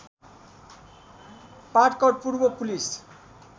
पाटकर पूर्व पुलिस